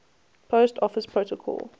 post office protocol